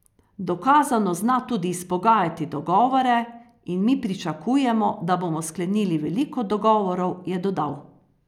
Dokazano zna tudi izpogajati dogovore in mi pričakujemo, da bomo sklenili veliko dogovorov, je dodal.